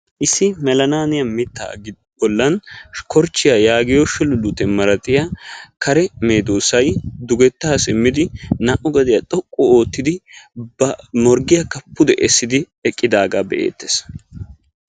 Issi melalaaniya mitaa bolan korchchiya yaagiyo shululluutitiya malatiya kare medoosay, dugetta simmidi ba naa'u gediyan xoqqu oottidi ba morggiyaaka pude eqqidaage beettees.